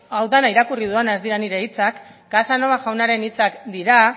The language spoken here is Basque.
hau dena irakurri dudana ez dira nire hitzak casanova jaunaren hitzak dira